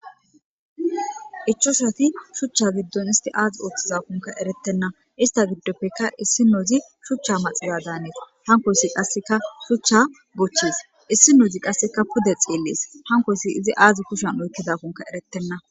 ichoshati shuchcha giddon isti aazi ooththizakunka eretenna ista giddoppeka issi noozi shuchcha maxila daaneeta hankosi qasseka shuchcha bochchis issi noozi qasseka pude xeellees hankosi izi aazi kushan oykizakunka erettenna